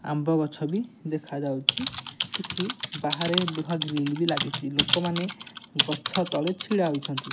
ଆମ୍ବ ବି ଦେଖା ଯାଉଛି କିଛି ବାହାରେ ଲୁହା ଗ୍ରିଲ ବି ଲାଗିଛି ଲୋକ ମାନେ ଗଛ ତଳେ ଛିଡା ହୋଇଛନ୍ତି।